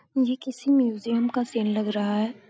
ये किसी म्यूजियम का सीन लग रहा है।